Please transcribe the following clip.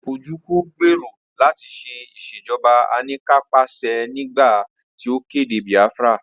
Ojúku gbèrò láti ṣe Ìṣèjọ́ba aníkanpàṣẹ nígbà tí ó kéde Biafra